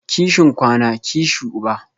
Kishin kwana, kishi uba